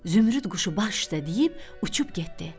Zümrüd quşu baş üstə deyib, uçub getdi.